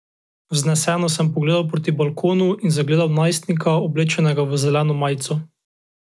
Vzneseno sem pogledal proti balkonu in zagledal najstnika, oblečenega v zeleno majico.